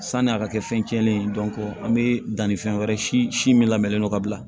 Sani a ka kɛ fɛn cɛnnen ye an bɛ danni fɛn wɛrɛ si min lamɛnlen don ka bila